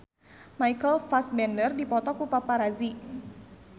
Michael Fassbender dipoto ku paparazi